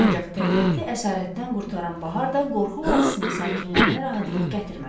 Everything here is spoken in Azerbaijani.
Ancaq təbiəti əsarətdən qurtaran bahar da qorxu vadisinin sakinlərinə rahatlıq gətirmədi.